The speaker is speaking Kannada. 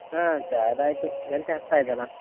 ಹಾ ಚಾ ಎಲ್ಲ ಆಯ್ತು ಗಂಟೆ ಹತ್ತಾಯ್ತಲ್ಲಾ.